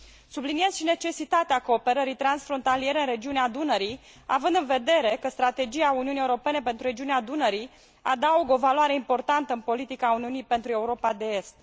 Subliniez și necesitatea cooperării transfrontaliere în regiunea Dunării, având în vedere că strategia Uniunii Europene pentru regiunea Dunării adaugă o valoare importantă în politica Uniunii pentru Europa de Est.